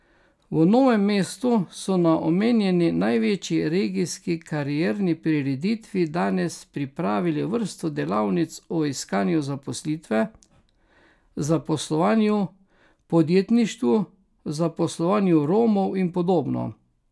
V Novem mestu so na omenjeni največji regijski karierni prireditvi danes pripravili vrsto delavnic o iskanju zaposlitve, zaposlovanju, podjetništvu, zaposlovanju Romov in podobno.